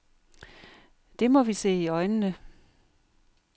Det må vi se i øjnene.